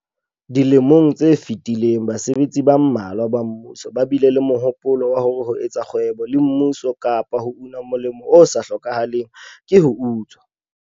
Dilemong tse fetileng basebetsi ba mmalwa ba mmuso ba bile le mohopolo wa hore ho etsa le kgwebo le mmuso kapa ho una molemo o sa hlokahaleng ho tswa.